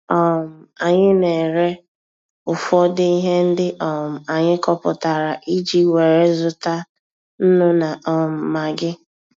um Anyị na-ere ụfọdụ ihe ndị um anyị kọpụtara iji were zụta nnu na um magị.